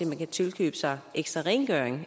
man kan tilkøbe sig ekstra rengøring